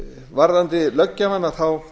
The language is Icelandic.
varðandi löggjafann þá